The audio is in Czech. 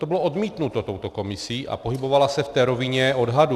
To bylo odmítnuto touto komisí a pohybovala se v té rovině odhadů.